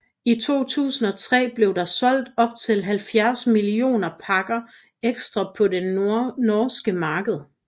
I 2003 blev der solgt op til 70 millioner pakker Extra på det norske marked